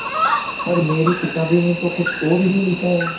पर मेरी किताबों में तो कुछ और ही लिखा है